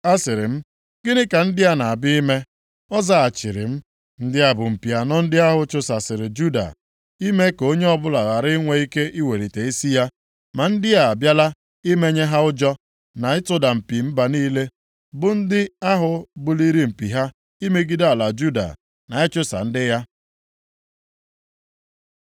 Asịrị m, “Gịnị ka ndị na-abịa ime?” Ọ zaghachiri m, “Ndị a bụ mpi anọ ndị ahụ chụsasịrị Juda, ime ka onye ọbụla ghara inwe ike iwelite isi ya. Ma ndị a abịala imenye ha ụjọ, na ịtụda mpi mba niile, bụ ndị ahụ buliri mpi ha imegide ala Juda, na ịchụsa ndị ya.”